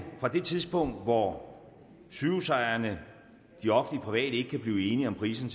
fra det tidspunkt hvor sygehusejerne de offentlige og ikke kan blive enige om priserne